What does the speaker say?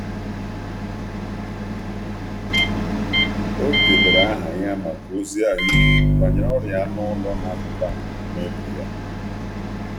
Ọ debere aha ya maka ozi ahụike banyere ọrịa anụ ụlọ na-apụta n’ógbè ya.